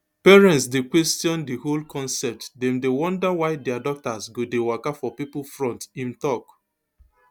parents dey question di whole concept dem dey wonder why dia daughters go dey waka for pipo front im tok